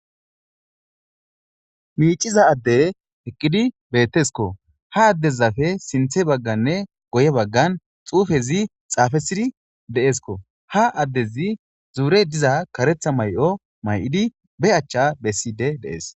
Miiciza adde heqqidi bettesko ha addezafe sinthe bagganne goye baggan xuufezi xaafesidi deeskko ha addezi zuurey diza karetha may'o may'idi be achcha besside deees.